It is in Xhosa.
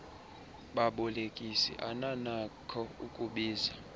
babolekisi ananakho ukubiza